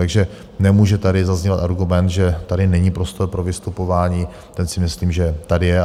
Takže nemůže tady zaznívat argument, že tady není prostor pro vystupování, ten si myslím, že tady je.